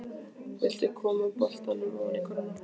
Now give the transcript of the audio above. Vill koma boltanum ofan í körfuna.